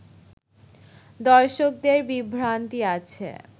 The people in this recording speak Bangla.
দর্শকদের বিভ্রান্তি আছে